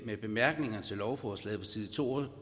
i bemærkningerne til lovforslaget på side to og